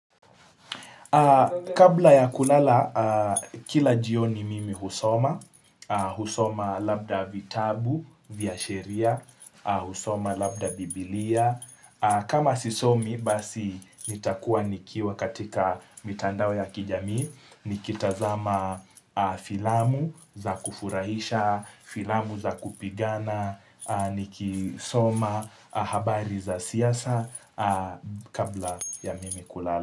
Kabla ya kulala, kila jioni mimi husoma. Husoma labda vitabu, vya sheria. Husoma labda biblia. Kama sisomi, basi nitakuwa nikiwa katika mitandao ya kijamii. Nikitazama filamu za kufurahisha, filamu za kupigana. Nikisoma habari za siasa kabla ya mimi kulala.